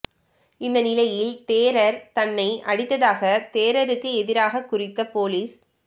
இந்த நிலையில் தேரர் தன்னை அடித்ததாக தேரருக்கு எதிராக குறித்த பொலிஸ்